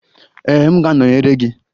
Ee, m ga-anọnyere gị.